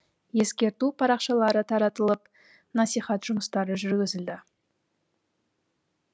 ескерту парақшалары таратылып насихат жұмыстары жүргізілді